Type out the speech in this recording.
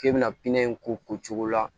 K'e bɛna pinɛ in ko cogo la